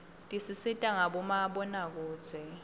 tisisita ngabomabonakudze